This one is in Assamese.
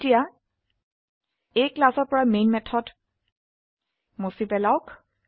এতিয়া এই ক্লাসৰ পৰা মেন মেথড মুছে পেলাওক